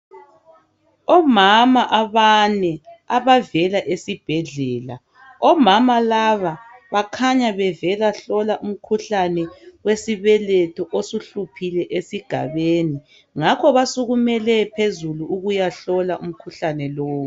Omama abane abavela esibhedlela omama laba bakhanya bevela hlola umkhuhlane wesibeletho osuhluphile esigabeni ngakho basukumele phezulu ukuyahlola umkhuhlane lowu.